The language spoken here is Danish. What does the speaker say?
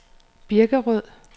Birkerød